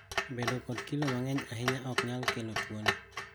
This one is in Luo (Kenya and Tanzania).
Bedo kod kilo mang`eny ahinya oknyal kelo tuoni.